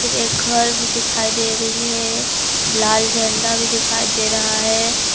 एक घर भी दिखाई दे रही है लाल झंडा भी दिखाई दे रहा है।